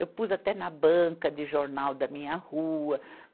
Eu pus até na banca de jornal da minha rua.